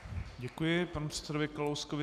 Děkuji panu předsedovi Kalouskovi.